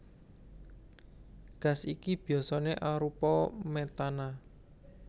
Gas iki biasané arupa metana